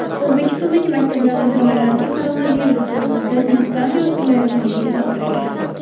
O‘zbekistondagi maktablarda bolalarga koronavirus to‘g‘risida diktant yozdirilayotganiga izoh berildi.